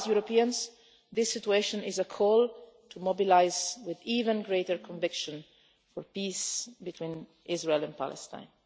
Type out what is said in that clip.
For us Europeans this situation is a call to mobilise with even greater conviction for peace between Israel and Palestine.